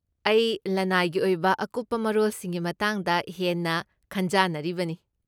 ꯑꯩ ꯂꯅꯥꯏꯒꯤ ꯑꯣꯏꯕ ꯑꯀꯨꯞꯄ ꯃꯔꯣꯜꯁꯤꯡꯒꯤ ꯃꯇꯥꯡꯗ ꯍꯦꯟꯅ ꯈꯟꯖꯥꯅꯔꯤꯕꯅꯤ꯫